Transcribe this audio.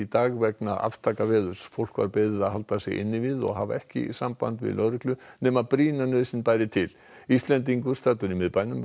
dag vegna aftakaveðurs fólk var beðið að halda sig inni við og hafa ekki samband við lögreglu nema brýna nauðsyn bæri til Íslendingur staddur í miðbænum